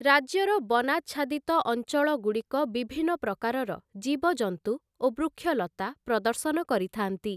ରାଜ୍ୟର ବନାଚ୍ଛାଦିତ ଅଞ୍ଚଳଗୁଡ଼ିକ ବିଭିନ୍ନ ପ୍ରକାରର ଜୀବଜନ୍ତୁ ଓ ବୃକ୍ଷଲତା ପ୍ରଦର୍ଶନ କରିଥାନ୍ତି ।